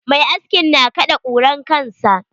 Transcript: Mai askin na kaɗe kuran kansa.